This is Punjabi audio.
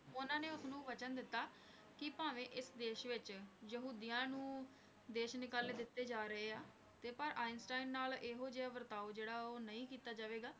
ਉਹਨਾਂ ਨੇ ਉਸਨੂੰ ਵਚਨ ਦਿੱਤਾ ਕਿ ਭਾਵੇਂ ਇਸ ਦੇਸ਼ ਵਿੱਚ ਯਹੂਦੀਆਂ ਨੂੰ ਦੇਸ਼ ਨਿਕਾਲੇ ਦਿੱਤੇ ਜਾ ਰਹੇ ਹਨ, ਤੇ ਪਰ ਆਈਨਸਟੀਨ ਨਾਲ ਇਹੋ ਜਿਹਾ ਵਰਤਾਓ ਜਿਹੜਾ ਉਹ ਨਹੀਂ ਕੀਤਾ ਜਾਵੇਗਾ,